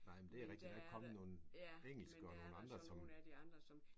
Nej men det rigtigt. Der er kommet nogle engelske og nogle andre som